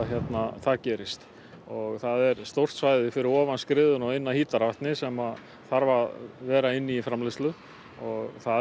það gerist og það er stórt svæði fyrir ofan skriðuna og inn að Hítarvatni sem þarf að vera inni í framleiðslu og það er